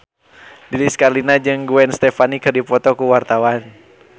Lilis Karlina jeung Gwen Stefani keur dipoto ku wartawan